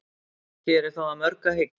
hér er þó að mörgu að hyggja